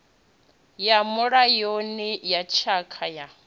ya mulayoni ya tshakha ya